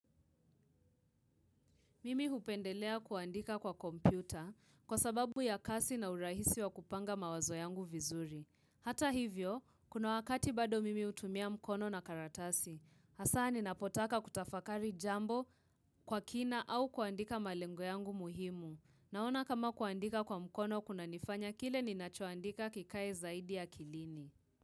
Mimi hupendelea kuandika kwa kompyuta kwa sababu ya kasi na urahisi wa kupanga mawazo yangu vizuri. Hata hivyo, kuna wakati bado mimi hutumia mkono na karatasi. Hasa ninapotaka kutafakari jambo kwa kina au kuandika malengo yangu muhimu. Naona kama kuandika kwa mkono kuna nifanya kile ninachoandika kikae zaidi akilini.